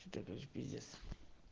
четырнадцать бизнес